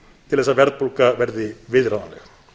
til þess að verðbólga verði viðráðanleg